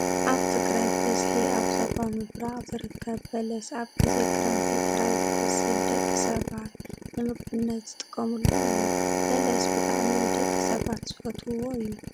ኣብ ትግራይ ብበዝሒ ኣብ ዞባ ምብራቅ ዝርከብ በለስ ኣብ ግዜ ክረምቲ ጥራሕ ዝበስል ደቂ ሰባት ንምግብነት ዝጥቀሙሉ እዩ። በለስ ብጣዕሚ ደቂ ሰባት ዝፈትውዎ እዩ።